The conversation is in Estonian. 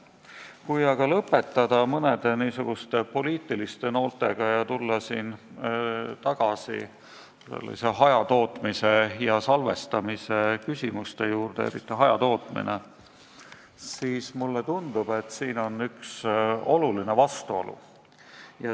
Kui aga lõpetada mõne poliitilise noolega ja tulla tagasi hajatootmise ja salvestamise küsimuste juurde, eriti hajatootmise juurde, siis mulle tundub, et siin on üks oluline vastuolu.